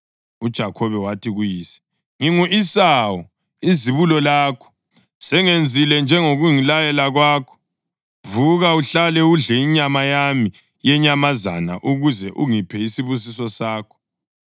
UJakhobe wathi kuyise, “Ngingu-Esawu izibulo lakho. Sengenzile njengokungilayela kwakho. Vuka uhlale udle inyama yami yenyamazana ukuze ungiphe isibusiso sakho.”